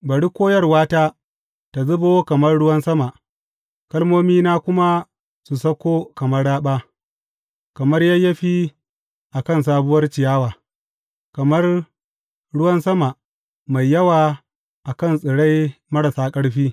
Bari koyarwata tă zubo kamar ruwan sama kalmomina kuma su sauko kamar raɓa, kamar yayyafi a kan sabuwar ciyawa, kamar ruwan sama mai yawa a kan tsirai marasa ƙarfi.